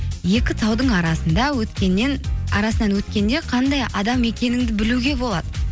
екі таудың арасынан өткенде қандай адам екеніңді білуге болады